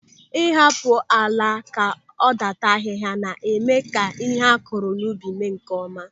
Ị hapụ ala ka ọ dàtà ahịhịa na-eme ka ihe akụrụ n'ubi mịa nkeọma.